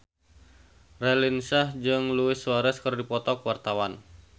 Raline Shah jeung Luis Suarez keur dipoto ku wartawan